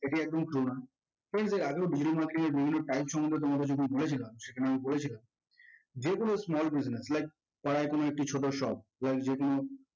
এটি একদম true না। friends এর আগেও digital marketing এর বিভিন্ন type সম্পর্কে তোমাদের যখন বলেছিলাম সেখানে বলেছিলাম যেকোনো small business like পাড়ায় যেকোনো একটি ছোট shop like যেকোনো